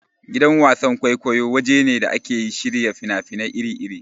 Gidan wasan-kwaikwayo waje ne da ake shirya fina-finai iri-iri.